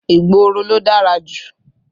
Ìgboro ló dára jù.